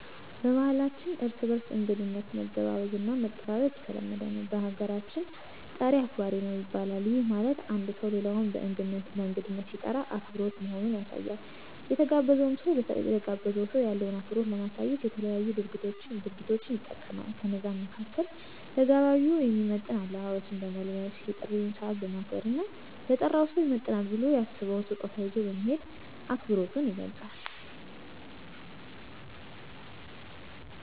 በባህላችን እርስ በርስ እንግድነት መገባበዝ እና መጠራራት የተለመደ ነው። በሀገራችን "ጠሪ አክባሪ ነው " ይባላል፤ ይህ ማለት አንድ ሠው ሌላን በእንግድነት ሲጠራ አክብሮት መሆኑን ያሳያል። የተጋበዘውም ሰው ለጋበዘው ሰው ያለውን አክብሮት ለማሳየት የተለያዩ ድርጊቶችን ይጠቀማል። ከነዛም መካከል ለጋባዡ የሚመጥን አለባበስን በመልበስ፣ የጥሪውን ሰዓት በማክበር እና ለጠራው ሰው ይመጥናል ብሎ ያሰበውን ስጦታ ይዞ በመሄድ አክብሮቱን ይገልፃል።